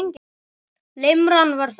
Limran var þannig